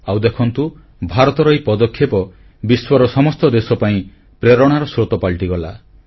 ଆଉ ଦେଖନ୍ତୁ ଭାରତର ଏହି ପଦକ୍ଷେପ ବିଶ୍ୱର ସମସ୍ତ ଦେଶ ପାଇଁ ପ୍ରେରଣାର ସ୍ରୋତ ପାଲଟିଗଲା